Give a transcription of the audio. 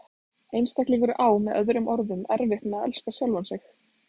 Einstaklingurinn á með öðrum orðum erfitt með að elska sjálfan sig.